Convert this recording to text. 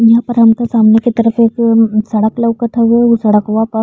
इम परम त सामने के तरफ एगो सड़क लउकत हवे उ सड़कवा पर --